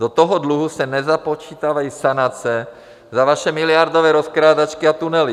Do toho dluhu se nezapočítávají sanace za vaše miliardové rozkrádačky a tunely.